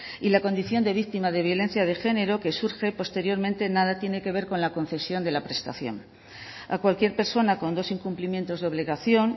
y la condición de víctima de violencia de género que surge posteriormente nada tiene que ver con la concesión de la prestación a cualquier persona con dos incumplimientos de obligación